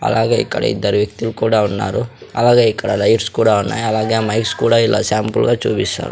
అలాగే ఇక్కడ ఇద్దరు వ్యక్తులు కూడా ఉన్నారు అలాగే ఇక్కడ లైట్స్ కూడా ఉన్నాయి అలాగే మైక్స్ కూడా ఇలా శాంపుల్ గా చూపిస్తారు.